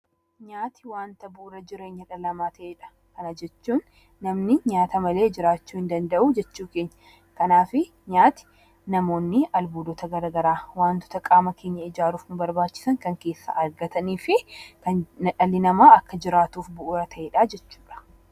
Nyaati wanta bu'uura jireenya dhala namaa ta'edha. Kana jechuun namni nyaata malee jiraachuu hin danda'u jechuu keenyadha. Kanaafuu, nyaati namoonni albuudota garaa garaa wantoota qaama keenya ijaaruuf nu barbaachisan kan keessaa argatanii fi dhalli namaa akka jiraatuuf bu'uura ta'edha jechuudha.